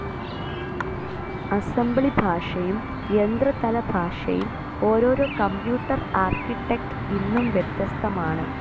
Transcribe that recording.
Assembly ഭാഷയും യന്ത്ര തല ഭാഷയും ഓരോരോ കമ്പ്യൂട്ടർ ആർക്കിറ്റെക്റ്റ്ഇന്നും വ്യത്യസ്തമാണ്.